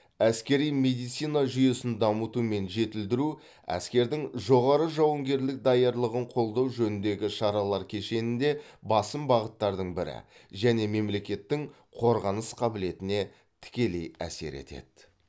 әскери медицина жүйесін дамыту мен жетілдіру әскердің жоғары жауынгерлік даярлығын қолдау жөніндегі шаралар кешенінде басым бағыттардың бірі және мемлекеттің қорғаныс қабілетіне тікелей әсер етеді